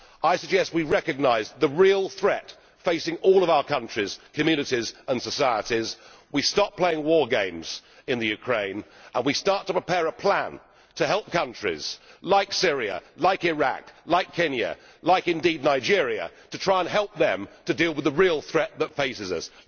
I suggest we recognise the real threat facing all of our countries, communities and societies, stop playing war games in the Ukraine and start to prepare a plan to help countries like Syria, Iraq, Kenya, and indeed Nigeria, to try and help them to deal with the real threat that faces us.